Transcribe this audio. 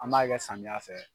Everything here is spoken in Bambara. An b'a kɛ samiya fɛ.